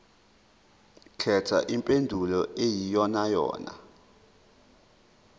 khetha impendulo eyiyonayona